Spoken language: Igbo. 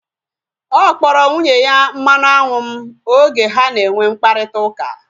Ọ kpọrọ nwunye ya mmanụ anwụ m oge ha na enwe mkparịta ụka